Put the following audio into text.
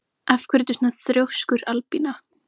Af hverju ertu svona þrjóskur, Albína?